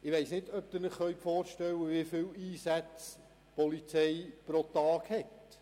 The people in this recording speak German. Ich weiss nicht, ob Sie sich vorstellen können, wie viele Einsätze die Polizei pro Tag hat.